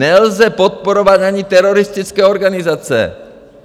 Nelze podporovat ani teroristické organizace.